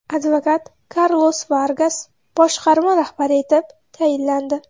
Advokat Karlos Vargas boshqarma rahbari etib tayinlandi.